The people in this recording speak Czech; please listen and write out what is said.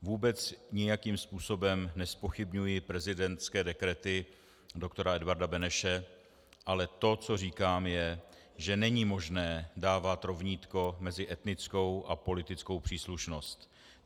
Vůbec nijakým způsobem nezpochybňuji prezidentské dekrety doktora Edvarda Beneše, ale to, co říkám, je, že není možné dávat rovnítko mezi etnickou a politickou příslušnost.